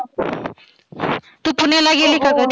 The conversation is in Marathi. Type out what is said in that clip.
तु पुण्याला गेली का कधी?